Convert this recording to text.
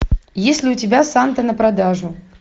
есть ли у тебя санта на продажу